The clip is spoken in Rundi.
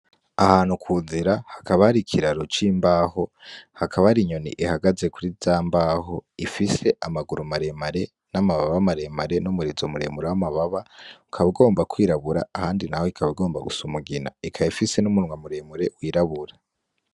Ahantu kunzira hakaba hari ikiraro cimbaho hakaba hari inyoni ihagaze kurizambaho ifise amaguru maremare, namababa maremare numurizo muremure wamababa ukaba ugomba kwirabura ahandi naho ikaba igomba gusa umugina ikaba ifise numunwa muremure wirabura